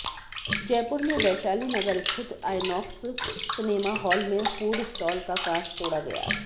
जयपुर में वैशाली नगर स्थित INOX cinema hall में फूड स्टॉल का कांच तोड़ा गया